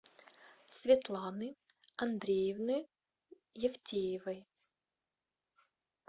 светланы андреевны евтеевой